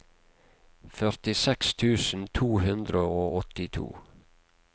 førtiseks tusen to hundre og åttito